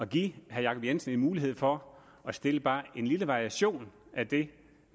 give herre jacob jensen en mulighed for at stille bare en lille variation af det